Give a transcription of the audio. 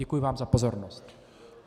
Děkuji vám za pozornost.